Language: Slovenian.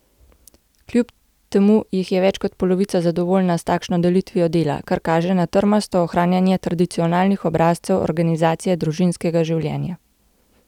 Kljub temu jih je več kot polovica zadovoljna s takšno delitvijo dela, kar kaže na trmasto ohranjanje tradicionalnih obrazcev organizacije družinskega življenja.